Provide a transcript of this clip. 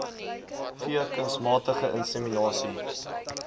v kunsmatige inseminasie